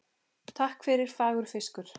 Takk fyrir fagur fiskur.